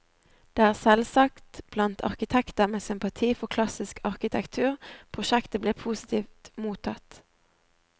Det er selvsagt blant arkitekter med sympati for klassisk arkitektur prosjektet blir positivt mottatt.